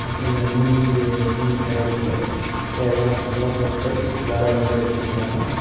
அப்றோ இந்த மீன்க்கு மீன் தையாரிக்க தேவையான மசாலா பொருட்கள் எல்லாரு அவிங்களே வெச்சிருக்காங்க.